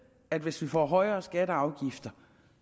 at hvis vi får højere skatter og afgifter